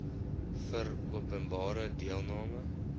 vir openbare deelname